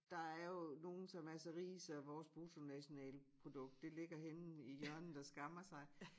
Der er jo nogen som er så rige så vores bruttonationalprodukt det ligger henne i hjørnet og skammer sig